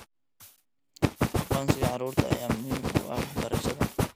Aqoonsiga carruurta ayaa muhiim u ah waxbarashada.